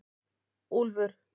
Úlfur